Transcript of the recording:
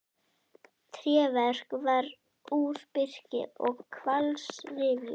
Tréverk var úr birki og hvalsrifjum.